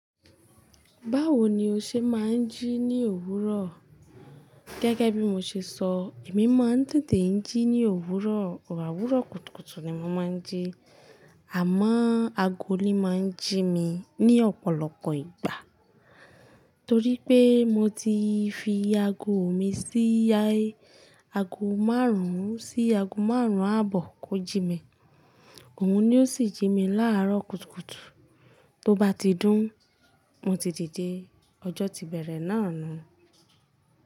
Báwo ni o ṣe máa ń jí ní òwúrọ̀? Gẹ́gẹ́ bí mo ṣe sọ, èmi máa ń dìde jí ní òwúrọ̀, o àwúrọ̀ kùtùkùtù ni mo máa ń jí. Àmọ́ ago ni máa ń jí mi ní ọ̀pọ̀lọpọ̀ ìgbà. Torí pé mo ti fi ago mi sí ayé, ago márùn-ún sí ago márùn-ún àbọ̀ kò jí mi. Òun ni ó sì jí mi láàárọ̀ kùtùkùtù. Tó bá ti dún, mo ti dìde. Ọjọ́ ti bẹ̀rẹ̀ náà nu.